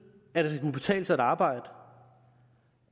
at det skal kunne betale sig at arbejde og